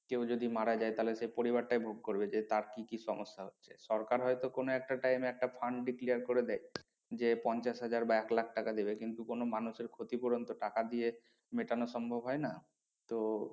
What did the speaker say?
কেউ যদি মারা যায় তাহলে সেই পরিবারটাই ভোগ করবে যে তার কি কি সমস্যা হচ্ছে সরকার হয়তো কোনো একটা time এ একটা fund declare করে দেয়। যে পঞ্চাশ হাজার বা এক লাখ টাকা দেবে কিন্তু কোনো মানুষের ক্ষতিপূরণ তো টাকা দিয়ে মেটানো সম্ভব হয় না। তো